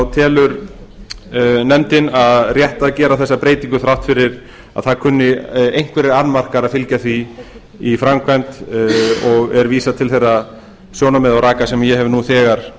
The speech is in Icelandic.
telur nefndin rétt að gera þessa breytingu þrátt fyrir að það kunni einhverjir annmarkar að fylgja því í framkvæmd og er vísað til þeirra sjónarmiða og raka sem ég hef þegar